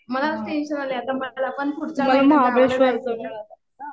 मलाच टेंशन आलंय आता. मलापण पुढच्या महिन्यात गावाला जायचंय.